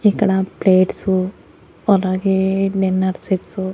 ఇక్కడ ప్లేట్సు అలాగే dinner sets --